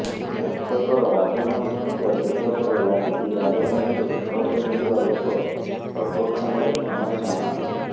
ବର୍ଷକର ଆବେଦନ ସଂଖ୍ୟା ଦେଖିବା ପରେ ଲାଗୁଛି ରାଜଧାନୀରେ ଘର କରିଥିବା ଲୋକ ସର୍ବକ୍ଷମାରେ କ୍ଷମା ଚାହୁଁନାହାନ୍ତି